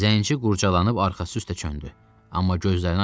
Zənci qurcalanıb arxası üstə çöndü, amma gözlərini açmadı.